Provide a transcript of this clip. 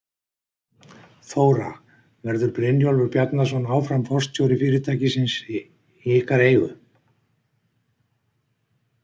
Þóra: Verður Brynjólfur Bjarnason áfram forstjóri fyrirtækisins í ykkar eigu?